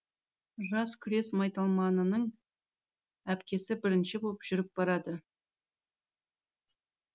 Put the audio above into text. жас күрес майталманының әпкесі бірінші боп жүріп барады